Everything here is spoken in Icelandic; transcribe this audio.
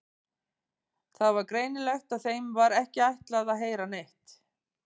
Það var greinilegt að þeim var ekki ætlað að heyra neitt.